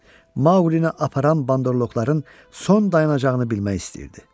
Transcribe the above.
Maqqlini aparan bandoloqların son dayanacağını bilmək istəyirdi.